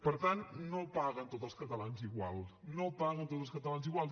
per tant no paguen tots els catalans igual no paguen tots els catalans igual